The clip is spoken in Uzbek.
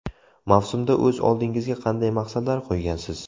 Mavsumda o‘z oldingizga qanday maqsadlar qo‘ygansiz?